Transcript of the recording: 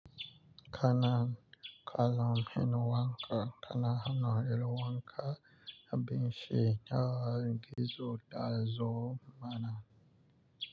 Kanan kalam hen wanka kana hano elo wanka na binshi nawa gizo dazo mana.